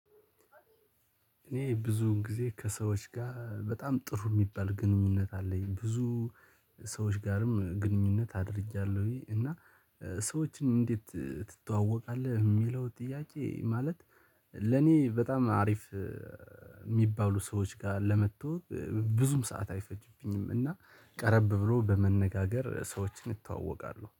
እኔ ብዙውን ጊዜ ከሰዎች ጋር በጣም ጥሩ የሚባል ግንኙነት አለኝ ብዙ ሰዎች ጋርም ግንኙነት አድርጊአለሁኝ እና ሰዎችን እንዴት ትተዋወቃለህ? የሚለው ጥያቄ ማለት ለእኔ በጣም አሪፍ የሚባሉ ሰዎች ጋር ለመተዋወቅ ብዙም ሰዓት አይፈጅብኝም እና ቀረብ ብሎ በመነጋገር ሰዎችን ይተዋወቃለሁ።